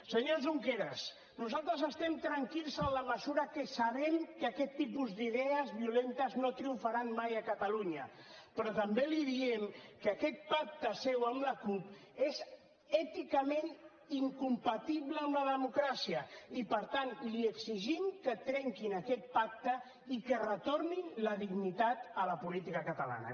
senyor junqueras nosaltres estem tranquils en la mesura que sabem que aquest tipus d’idees violentes no triomfaran mai a catalunya però també li diem que aquest pacte seu amb la cup és èticament incompatible amb la democràcia i per tant li exigim que trenquin aquest pacte i que retornin la dignitat a la política catalana